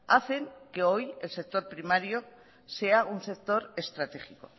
hacen que hoy el sector primario sea un sector estratégico